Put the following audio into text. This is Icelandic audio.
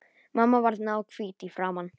Mamma varð náhvít í framan.